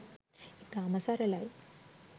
ඉතාම සරලයි